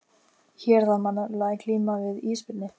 Hér þarf maður nefnilega að glíma við ísbirni!